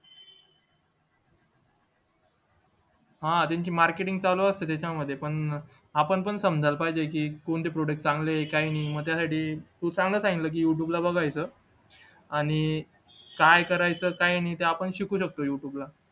हा त्यांची marketing चालू असते त्याच्यामध्ये पण आपण पण समजायला पाहिजे की कोणते product चांगले काय नाही मग त्यासाठी तू चांगला सांगितलं की youtube ला बघायचं आणि काय करायचं काय नाही ते आपण शिकू शकतो youtube ला